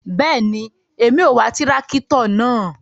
Bẹẹni, Èmí o wà tìràkitọ náà